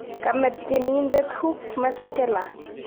Kame Tyenindet Hugh Masekela